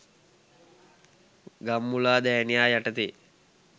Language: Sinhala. ගම්මුලාදෑනියා යටතේ